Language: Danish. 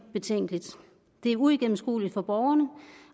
betænkeligt det er uigennemskueligt for borgerne